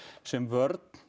sem vörn